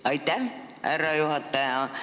Aitäh, härra juhataja!